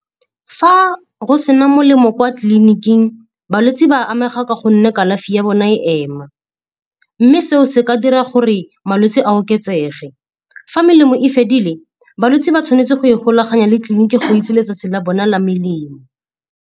Fa go se na melemo kwa tleliniking balwetse ba amega ka gonne kalafi ya bona e ema. Mme seo se ka dira gore malwetse a oketsege. Fa melemo e fedile, balwetse ba tshwanetse go e golaganya le tleliniki go itse letsatsi la bona la melemo.